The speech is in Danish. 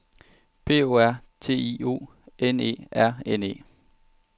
P O R T I O N E R N E